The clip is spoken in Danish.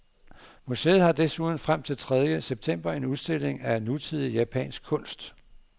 Museet har desuden frem til tredje september en udstilling af nutidig japansk kunst.